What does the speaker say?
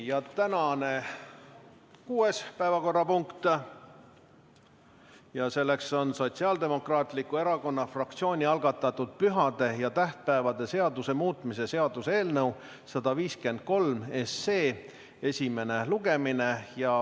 Tänane kuues päevakorrapunkt on Sotsiaaldemokraatliku Erakonna fraktsiooni algatatud pühade ja tähtpäevade seaduse muutmise seaduse eelnõu 153 esimene lugemine.